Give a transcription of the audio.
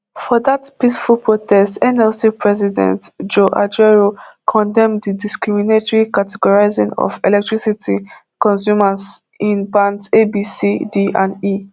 for dat peaceful protest nlc president joe ajaero condemn di discriminatory categorising of electricity consumers in bands a b c d and e